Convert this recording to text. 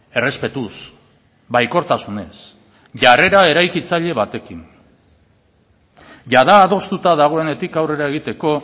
errespetuz baikortasunez jarrera eraikitzaile batekin jada adostuta dagoenetik aurrera egiteko